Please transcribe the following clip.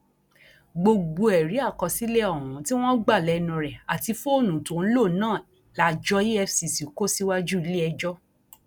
gbogbo ẹrí àkọsílẹ ohun tí wọn gbà lẹnu rẹ àti fóònù tó ń lò náà lájọ efcc kò síwájú iléẹjọ